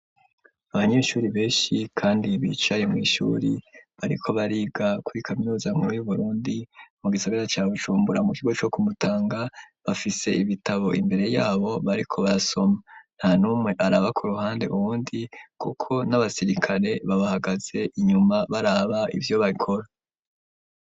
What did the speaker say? Abanyeshuri benshi kandi bicaye mu ishuri bariko bariga kuri kaminuza nkuru yu Burundi mu gisigara ca Bujumbura mu kigo co kumutanga bafise ibitabo imbere yabo bariko basoma nta numwe araba ku ruhande uwundi kuko n'abasirikare babahagaze inyuma baraba ivyo barakora.